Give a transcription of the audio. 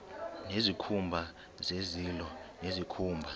nezikhumba zezilo nezikhumba